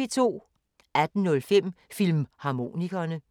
18:05: Filmharmonikerne